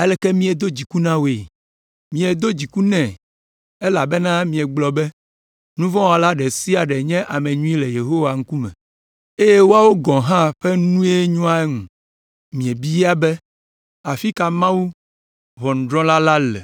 “Aleke míedo dziku na wòe?” Miedo dziku nɛ elabena miegblɔ be, “Nuvɔ̃wɔla ɖe sia ɖe nye ame nyui le Yehowa ŋkume eye woawo gɔ̃ hã ƒe nue nyoa eŋu” Miebia be, “Afi ka Mawu, ʋɔnudrɔ̃la la le?”